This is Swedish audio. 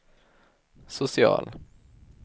social